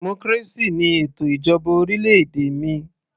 Democracy ni ètò ìjọba orílẹ̀-èdè mi